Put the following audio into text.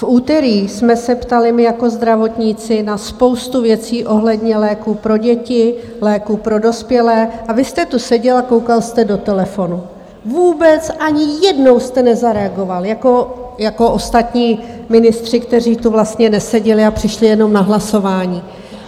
V úterý jsme se ptali my jako zdravotníci na spoustu věcí ohledně léků pro děti, léků pro dospělé, a vy jste tu seděl a koukal jste do telefonu, vůbec ani jednou jste nezareagoval, jako ostatní ministři, kteří tu vlastně neseděli a přišli jenom na hlasování.